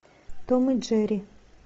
том и джерри